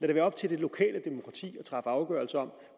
det være op til det lokale demokrati at træffe afgørelse om